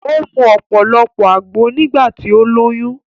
O mu ọ̀pọ̀lọpọ̀ àgbo nígbà tí ó lóyún